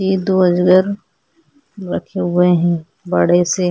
ये दो अजगर रखे हुए है बड़े से --